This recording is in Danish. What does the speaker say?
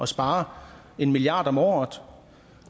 spare en milliard om året